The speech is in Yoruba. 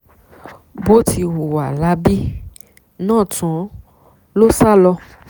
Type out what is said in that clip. bó ti hùwà láabi náà tán ló sá lọ